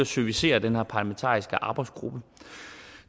servicere den her parlamentariske arbejdsgruppe